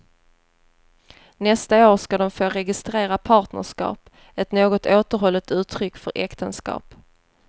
Nästa år ska de få registrera partnerskap, ett något återhållet uttryck för äktenskap.